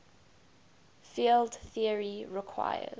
field theory requires